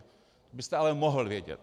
To byste ale mohl vědět.